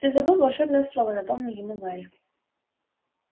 ты забыл волшебное слово напомнил ему гарри